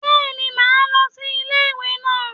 Béeni, máa lo sí Ilé ìwè naa